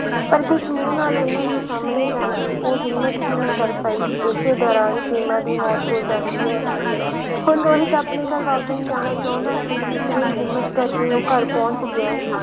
ਪਰ ਕਿਸ ਮੂੰਹ ਨਾਲ ਉਹਨਾਂ ਦੇ ਸਾਹਮਣੇ ਜਾਂਦੀ ਉਹ ਹਿੰਮਤ ਹੀ ਨਾ ਕਰ ਪਾਈ, ਇਸੇ ਦੌਰਾਨ ਸੀਮਾ ਦੀ ਮੌਤ ਹੋ ਜਾਂਦੀ ਹੈ, ਹੁਣ ਰੋਹਿਤ ਆਪਣੇ ਘਰ ਵਾਪਸ ਜਾਣਾ ਚਾਹੁੰਦਾ ਸੀ ਇੱਕ ਦਿਨ ਹਿੰਮਤ ਕਰਕੇ ਉਹ ਘਰ ਪਹੁੰਚ ਗਿਆ।